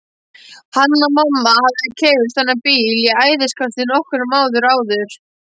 Hanna-Mamma hafði keypt þennan bíl í æðiskasti nokkrum árum áður.